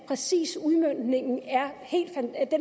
præcis udmøntningen i er helt